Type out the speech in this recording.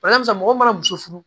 Barisa mɔgɔ mana muso furu